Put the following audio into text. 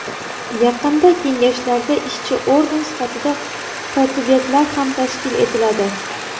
Yaqinda kengashlarda ishchi organ sifatida kotibiyatlar ham tashkil etiladi.